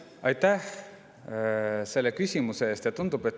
Aitäh selle küsimuse eest!